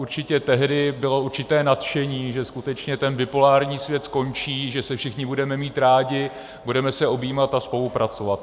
Určitě tehdy bylo určité nadšení, že skutečně ten bipolární svět skončí, že se všichni budeme mít rádi, budeme se objímat a spolupracovat.